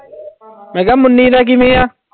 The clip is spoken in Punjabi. ਮੈਂ ਕਿਹਾ ਮੁੰਨੀ ਦਾ ਕਿਵੇਂ ਆ?